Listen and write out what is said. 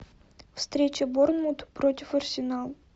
встреча борнмут против арсенал